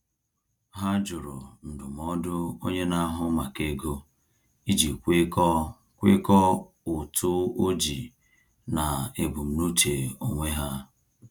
Ha jụrụ ndụmọdụ onye na-ahụ maka ego iji kwekọọ kwekọọ ụtụ ojii na ebumnuche onwe ha.